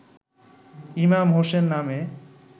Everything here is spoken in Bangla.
ইমাম হোসেন নামে